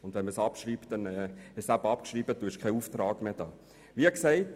Wenn man abschreiben würde, wäre kein Auftrag mehr vorhanden.